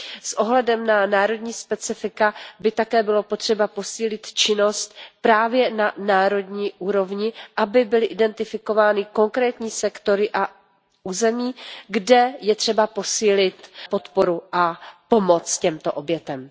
S ohledem na národní specifika by také bylo potřeba posílit činnost právě na národní úrovni, aby byly identifikovány konkrétní sektory a území, kde je třeba posílit podporu a pomoc těmto obětem.